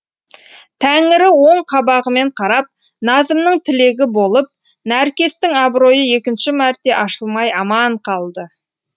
тәңірі оң қабағымен қарап назымның тілегі болып нәркестің абыройы екінші мәрте ашылмай аман қалды